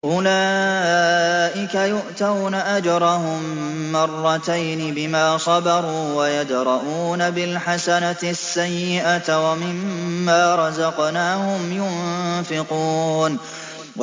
أُولَٰئِكَ يُؤْتَوْنَ أَجْرَهُم مَّرَّتَيْنِ بِمَا صَبَرُوا وَيَدْرَءُونَ بِالْحَسَنَةِ السَّيِّئَةَ وَمِمَّا رَزَقْنَاهُمْ يُنفِقُونَ